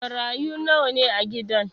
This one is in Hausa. Marayu nawa ne a gidan?